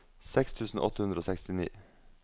seks tusen åtte hundre og sekstini